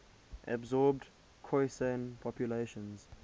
absorbed khoisan populations